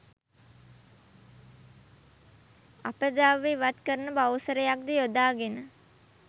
අපද්‍රව්‍ය ඉවත් කරන බවුසරයක්‌ ද යොදාගෙන